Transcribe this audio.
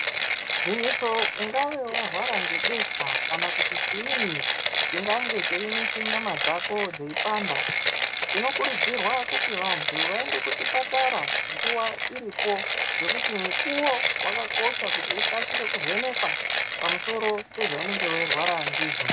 Gwinyiso ungave warwara ngebesha kana kuti chiinyi chingange cheinesa nyama dzako dzeipanda tinokurudzirwa kuti vantu vaende kuchipatara nguwa iripo ngekuti mukuwo wakakosha kuti ukasire kuvhenekwa pamusoro pezvaunenge weirwara ndizvo.